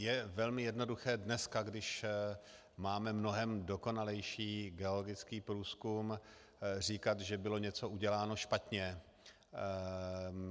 Je velmi jednoduché dneska, když máme mnohem dokonalejší geologický průzkum, říkat, že bylo něco uděláno špatně.